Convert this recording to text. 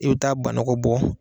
I bi taa ba nɔgɔ bɔ